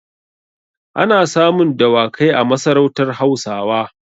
Ana samun dawakai a masarautar Hausawa.